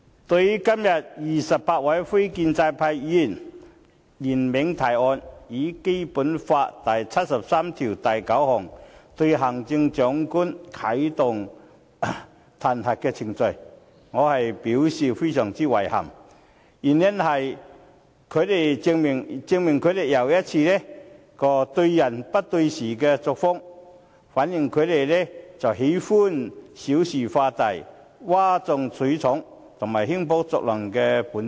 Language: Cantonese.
對於今天28位非建制派議員聯名提案，要按《基本法》第七十三條第九項啟動對行政長官的彈劾程序，我表示非常遺憾，因為這正好又一次證明他們對人不對事的作風，亦反映他們喜歡小事化大、譁眾取寵和興風作浪的本質。